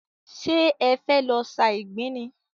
Ṣé e fẹ́ lọ sa ìgbín ni?